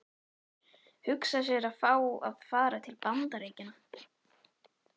Hugsa sér, að fá að fara til Bandaríkjanna!